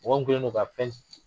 Mɔgɔ min kɛlen do ka fɛn